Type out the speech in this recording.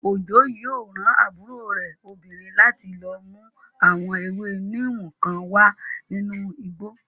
Òjó yóò rán àbúrò rẹ̀ obìnrin láti lọ mú àwọn ewé níìmù kan wá nínú igbó